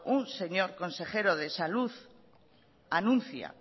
un señor consejero de salud anuncia